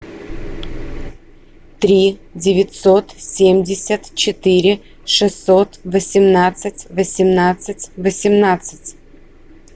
три девятьсот семьдесят четыре шестьсот восемнадцать восемнадцать восемнадцать